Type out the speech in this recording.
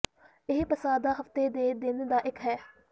ਇਹ ਪਸਾਹ ਦਾ ਹਫ਼ਤੇ ਦੇ ਦਿਨ ਦਾ ਇੱਕ ਹੈ